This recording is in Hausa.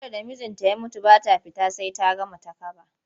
Matar da mijinta ya mutu ba ta fita sai ta gama takaba.